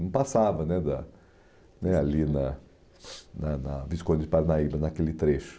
Não passava né da né ali na na na Visconde de Parnaíba, naquele trecho.